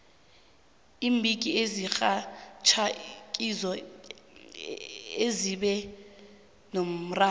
iimbiki ezirhatjhako ngizo ezibe nomraro